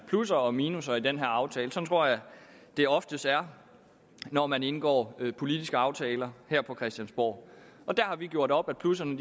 plusser og minusser i den her aftale sådan tror jeg det oftest er når man indgår politiske aftaler her på christiansborg der har vi gjort op at plusserne